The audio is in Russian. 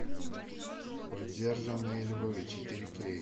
подержанные львы четыре кей